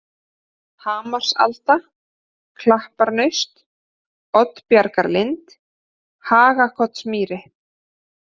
Hamarsalda, Klapparnaust, Oddbjargarlind, Hagakotsmýri